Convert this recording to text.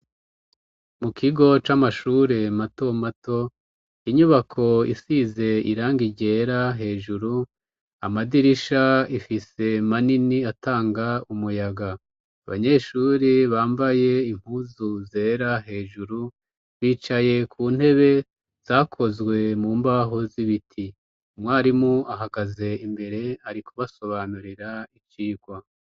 Mu kigo c'amashure mato mato, inyubako isize irangi ryera hejuru, amadirisha ifise manini atanga umuyaga. Abanyeshuri bambaye impuzu zera hejuru, bicaye ku ntebe zakozwe mu mbaho z'ibiti. Umwarimu ahagaze imbere ari kubasobanurira icigwa.